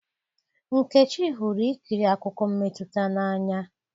Nkechi hụrụ ikiri akụkọ mmetụta n'anya